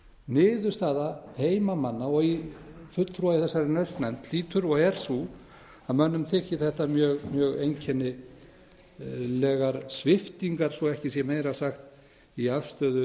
niðurstaða heimamanna og fulltrúa í þessari naust nefnd hlýtur og er sú að mönnum þyki þetta mjög einkennilegar sviptingar svo ekki sé meira sagt í afstöðu landsvirkjunar